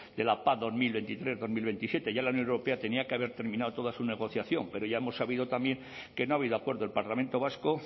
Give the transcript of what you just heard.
de la pac bi mila hogeita hiru bi mila hogeita zazpi ya la unión europea tenía que haber terminado toda su negociación pero ya hemos sabido también que no ha habido acuerdo el parlamento vasco